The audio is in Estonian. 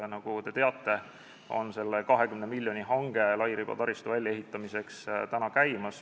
Nagu te teate, praegu on käimas 20-miljoniline hange lairibataristu väljaehitamiseks.